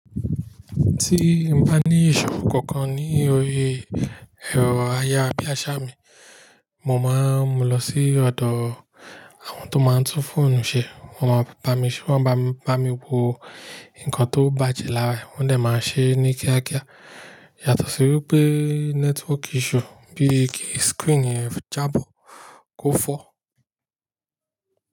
Tí n bá ní ìṣòro kankan ní orí ẹ̀rọ ayarabíaṣa mì, mo máa ń mú lọ sí ọ̀dọ̀ àwọn tó máa ń tún fóònù ṣe. Wọn máa ba mí ṣe wọ́n ma bá mi wo nǹkan tó bàjẹ́ lára ẹ̀, wọ́n dẹ máa ṣe é ní kíákíá. Yàtọ̀ sí wípé nẹ́tíwọ́kì issue bíi kí skìrínì ẹ jábọ̀ kò fọ́